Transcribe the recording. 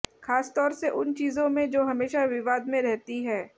खास तौर से उन चीजों में जो हमेशा विवाद में रहती हैं